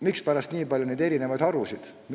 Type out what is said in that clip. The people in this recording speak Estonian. Mispärast nii palju erinevaid harusid?